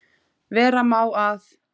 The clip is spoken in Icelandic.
Vera má að